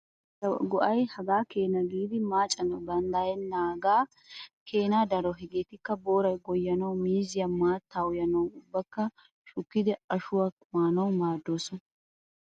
Miizzaappe beettiya go'ay hagaa keena giidi maacanawu danddayettennaagaa keenaa daro. Hegeetikka:- booray goyyanawu, miizziya maattaa uyanawu ubba shukkidi ashuwakka maanawu maaddoosona.